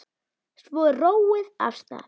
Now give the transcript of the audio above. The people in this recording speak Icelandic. Svo er róið af stað.